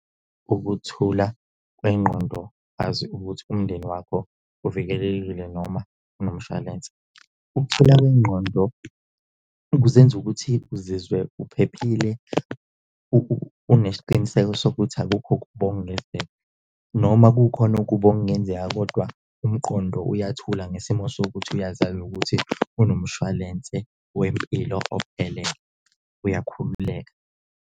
Ukuthula kwengqondo azi ukuthi umndeni wakho uvikelekile noma unomshwalense. Ukuthula kwengqondo kuzenza ukuthi uzizwe uphephile unesiqiniseko sokuthi akukho okubi okungenzeka, noma kukhona okubi okungenzeka kodwa umqondo uyathula ngesimo sokuthi uyazazi ukuthi unomshwalense wempilo ophelele, uyakhululeka.